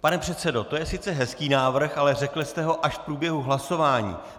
Pane předsedo, to je sice hezký návrh, ale řekl jste ho až v průběhu hlasování.